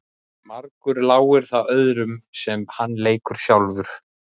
Margur láir það öðrum sem hann leikur sjálfur.